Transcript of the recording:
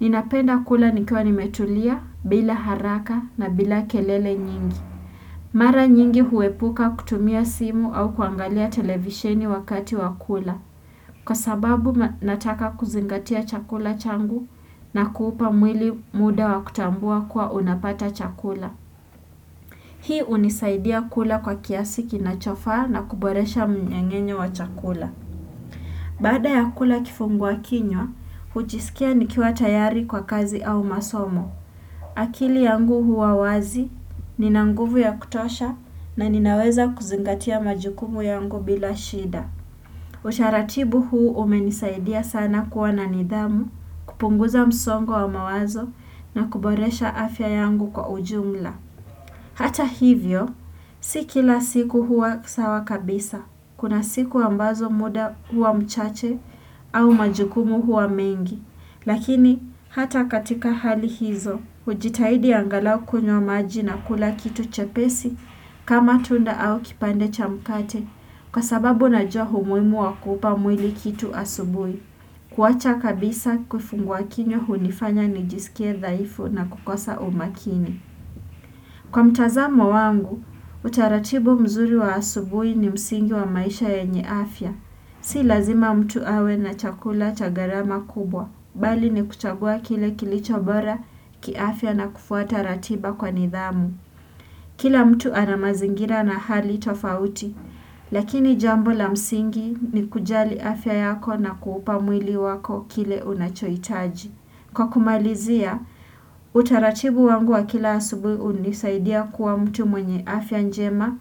Ninapenda kula nikiwa nimetulia bila haraka na bila kelele nyingi. Mara nyingi huepuka kutumia simu au kuangalia televisheni wakati wa kula. Kwa sababu nataka kuzingatia chakula changu na kuupa mwili muda wa kutambua kuwa unapata chakula. Hii unisaidia kula kwa kiasi kinachofaa na kuboresha mnyengenyo wa chakula. Baada ya kula kifungu wa kinywa, huchisikia nikiwa tayari kwa kazi au masomo. Akili yangu huwa wazi, nina nguvu ya kutosha na ninaweza kuzingatia majikumu yangu bila shida. Usharatibu huu umenisaidia sana kuwa na nidhamu, kupunguza msongo wa mawazo na kuboresha afya yangu kwa ujumla. Hata hivyo, si kila siku hua sawa kabisa, kuna siku ambazo muda hua mchache au majukumu huwa mengi. Lakini hata katika hali hizo, hujitahidi angalau kunyo maji na kula kitu chepesi kama tunda au kipande cha mkate kwa sababu najua umuhimu wa kupa mwili kitu asubui. Kuwacha kabisa kifungua wakinyo hunifanya nijisikie dhaifu na kukosa umakini. Kwa mtazamo wangu, utaratibu mzuri wa asubui ni msingi wa maisha yenye afya. Si lazima mtu awe na chakula cha gharama kubwa. Bali ni kuchagua kile kilicho bora kiafya na kufuata ratiba kwa nidhamu. Kila mtu ana mazingira na hali tofauti, lakini jambo la msingi ni kujali afya yako na kuupa mwili wako kile unachohitaji. Kwa kumalizia, utaratibu wangu wa kila asubui unisaidia kuwa mtu mwenye afya njema.